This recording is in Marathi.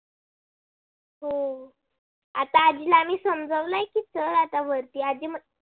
हो आता जीला आम्ही समजावालय तस आता वरती.